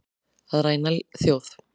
Að ræna þjóð